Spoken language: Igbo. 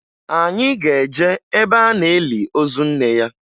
Anyị ga-eje ebe a na-eli ozu nne ya